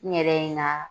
N yɛrɛ na